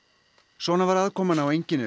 svona var aðkoman á